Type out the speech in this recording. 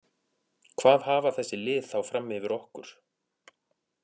Hvað hafa þessi lið þá fram yfir okkur?